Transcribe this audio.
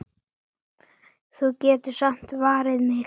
Þú getur samt varið mig.